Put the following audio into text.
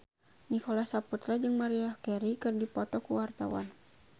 Nicholas Saputra jeung Maria Carey keur dipoto ku wartawan